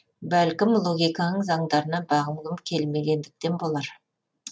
бәлкім логиканың заңдарына бағынғым келмегендіктен болар